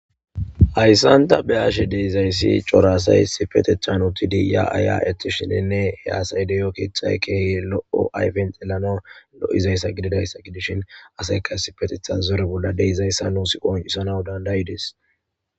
Hayssanta beyashe deizayssi coraasay sifetechan utidi ya ay'e'eti shinenne he asaydeyo keexay keehi lo'o ayfen xelana lo'izayssa gididayssa gidishin aseyka essipetetha zore bolla deizayssa nuus qoncisana dandayides.